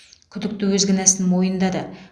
күдікті өз кінәсін мойындады